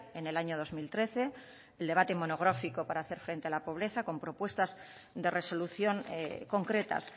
en el año dos mil trece el debate monográfico para hacer frente a la pobreza con propuestas de resolución concretas